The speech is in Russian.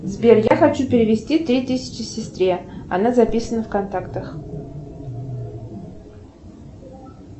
сбер я хочу перевести три тысячи сестре она записана в контактах